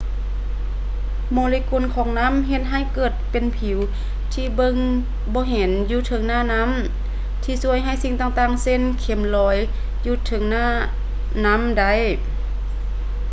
ໂມເລກຸນຂອງນ້ຳເຮັດໃຫ້ເກີດເປັນຜິວທີ່ເບິ່ງບໍ່ເຫັນຢູ່ເທິງໜ້ານ້ຳ ທີ່ຊ່ວຍໃຫ້ສິ່ງຕ່າງໆ ເຊັ່ນ ເຂັມລອຍຢູ່ເທິງໜ້ານ້ຳໄດ້